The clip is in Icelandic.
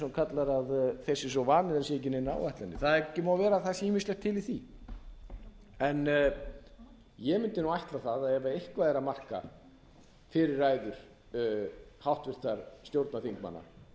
svo vanir að það séu ekki neinar áætlanir það má vera að það sé ýmislegt til í því en ég mundi ætla það að ef eitthvað er að marka fyrri ræður háttvirtra stjórnarþingmanna að þeir